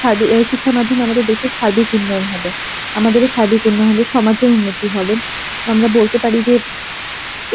সাদী~ শিক্ষার মাধ্যমে আমাদের দেশের সার্বিক উন্নয়ন হবে, আমাদের আর সার্বিক উন্নয়ন হবে সমাজে উন্নতি হবে, আমরা বলতে পারি যে,